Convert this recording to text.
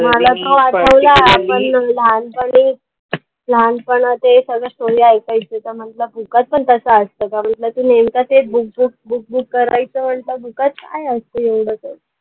मला आठवला, पण लहानपणी, लहानपण ते story ऐकायचे तर, book मध्ये पण तसं असतं का, म्हटलं तू नेमका तेच book book book book करायचं म्हटलं book मध्ये काय असतं एवढं?